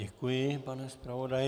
Děkuji, pane zpravodaji.